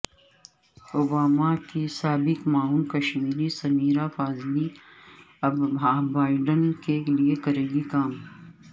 Obama کی سابق معاون کشمیری سمیرا فاضلی اب بائیڈن کے لئے کریں گی کام